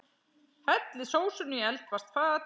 Hellið sósunni í eldfast fat.